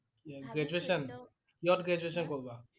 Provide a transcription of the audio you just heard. কি Graduation? কিহত Graduation কৰিবা?